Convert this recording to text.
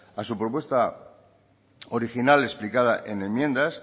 a su propuesta original explicada en enmiendas